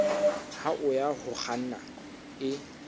hao ya ho kganna e